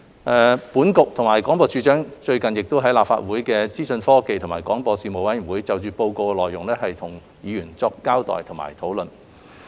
商經局及廣播處長最近亦在立法會資訊科技及廣播事務委員會就《檢討報告》的內容與議員作出交代及討論。